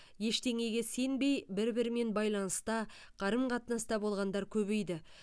ештеңеге сенбей бір бірімен байланыста қарым қатынаста болғандар көбейді